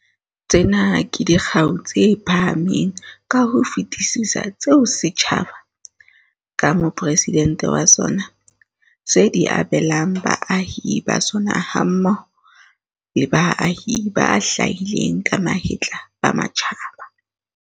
Tsena ke dikgau tse phahameng ka ho fetisisa tseo setjhaba, ka Mopresidente wa sona, se di abelang baahi ba sona hammoho le baahi ba hlahileng ka mahetla ba matjhaba.